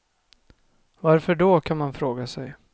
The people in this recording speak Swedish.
Varför då, kan man fråga sig.